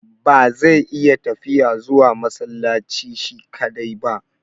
Ba zai iya tafiya zuwa masallaci shi kaɗai ba.